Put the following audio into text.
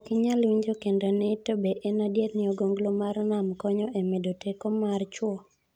Ok inyal winjo kendo ni to be en adiera, ni ogonglo mar nam konyo e medo teko mar chuo?